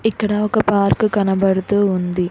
ఇక్కడ ఒక పార్కు కనబడుతూ ఉంది.